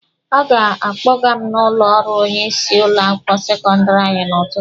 Ọ ga-akpọga m n'ụlọ ọrụ onye isi ụlọ akwụkwọ sekọndịrị anyị n'ụtụtụ.